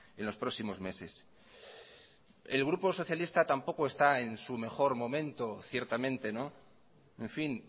en los próximos meses el grupo socialista tampoco está en su mejor momento ciertamente en fin